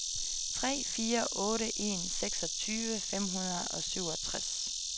tre fire otte en seksogtyve fem hundrede og syvogtres